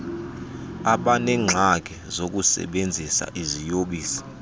abaneengxaki zokusebenzisa iziyobisi